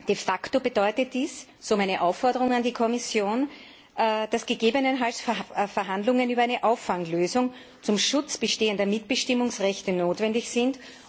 De facto bedeutet dies, so meine Aufforderung an die Kommission, dass gegebenenfalls Verhandlungen über eine Auffanglösung zum Schutz bestehender Mitbestimmungsrechte notwendig sind.